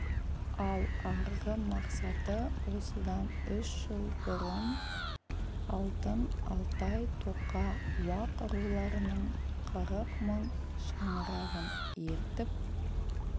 ал арғы мақсаты осыдан үш жыл бұрын алтын алтай тоқа уақ руларының қырық мың шаңырағын ертіп